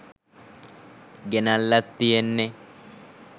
ගෙනල්ලත් තියෙන්නේ